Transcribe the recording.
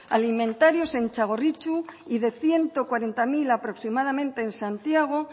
alimentarios en txagorritxu y de ciento cuarenta mil aproximadamente en santiago